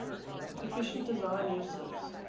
efficient design uses